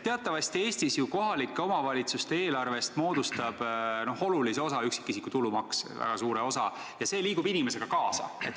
Teatavasti Eestis ju kohalike omavalitsuste eelarvest moodustab olulise osa, väga suure osa üksikisiku tulumaks, ja see liigub inimesega kaasa.